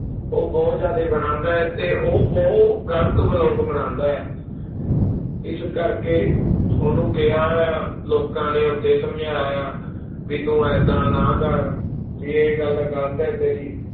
ਉਹ ਬਹੁਤ ਜ਼ਿਆਦੇ ਬਣਾਉਂਦਾ ਹੈ ਤੇ ਉਹ ਬਹੁਤ ਗ਼ਲਤ ਬਲੋਗ ਬਣਾਉਂਦਾ ਹੈ ਇਸ ਕਰਕੇ ਉਹਨੂੰ ਕਿਹਾ ਆ, ਲੋਕਾਂ ਨੇ ਉੱਥੇ ਸਮਝਾਇਆ ਵੀ ਤੂੰ ਏਦਾਂ ਨਾ ਕਰ ਵੀ ਇਹ ਗੱਲ ਗ਼ਲਤ ਹੈ ਤੇਰੀ